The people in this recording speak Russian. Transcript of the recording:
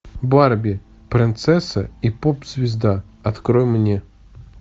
барби принцесса и поп звезда открой мне